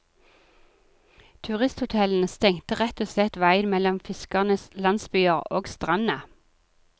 Turisthotellene stengte rett og slett veien mellom fiskernes landsbyer og stranda.